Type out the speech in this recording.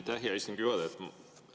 Aitäh, hea istungi juhataja!